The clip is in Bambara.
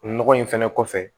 Nɔgɔ in fɛnɛ kɔfɛ